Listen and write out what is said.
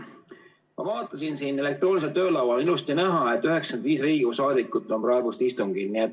Ma vaatasin, elektroonilisel töölaual on ilusti näha, et 95 Riigikogu liiget on praegu istungil.